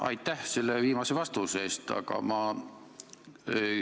Aitäh selle viimase vastuse eest!